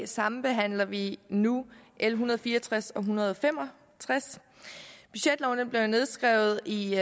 sambehandler vi nu l en hundrede og fire og tres og l en hundrede og fem og tres budgetloven blev nedskrevet i